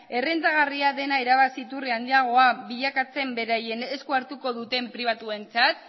errentagarria dena irabazi iturri handiagoa bilakatzen beraien esku hartuko duten pribatuentzat